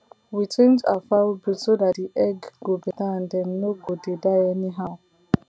we change our fowl breed so that the egg go better and dem no go dey die anyhow